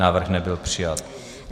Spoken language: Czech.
Návrh nebyl přijat.